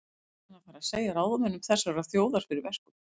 Ætlar hann að fara að segja ráðamönnum þessarar þjóðar fyrir verkum?